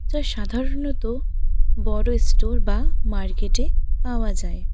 যা সাধারণত বড় স্টোর বা মার্কেটে পাওয়া যায়।